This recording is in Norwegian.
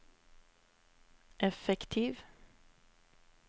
effektiv